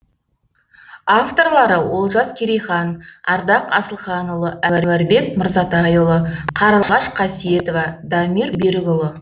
авторлары олжас керейхан ардақ асылханұлы әнуарбек мырзатайұлы қарлығаш қасиетова дамир берікұлы